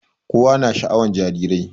Kowa na sha'awan jarirai